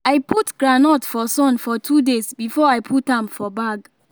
i put groundnut for sun for two days before i put am for bag